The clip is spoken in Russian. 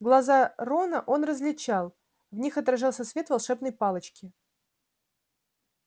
глаза рона он различал в них отражался свет волшебной палочки